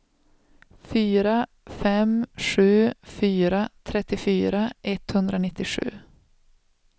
fyra fem sju fyra trettiofyra etthundranittiosju